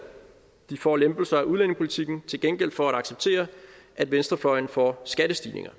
de får lempelser af udlændingepolitikken til gengæld for at acceptere at venstrefløjen får skattestigninger